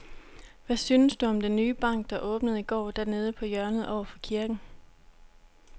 Hvad synes du om den nye bank, der åbnede i går dernede på hjørnet over for kirken?